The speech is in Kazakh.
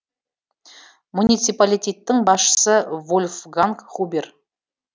муниципалитеттің басшысы вольфганг хубер